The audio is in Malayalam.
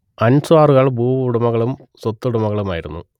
അൻസ്വാറുകൾ ഭൂവുടമകളും സ്വത്തുടമകളുമായിരുന്നു